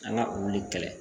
An ka olu le kɛlɛ